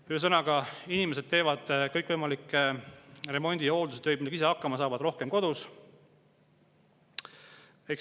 Ühesõnaga, inimesed teevad kõikvõimalikke remondi‑ ja hooldustöid, millega ise hakkama saavad, rohkem kodus.